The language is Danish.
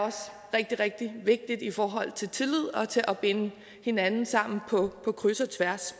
rigtig rigtig vigtig i forhold til tillid og til at binde hinanden sammen på kryds og tværs